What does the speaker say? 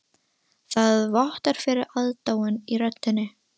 Það vottar fyrir aðdáun í röddinni.